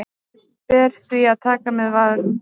Þær ber því að taka með varúð.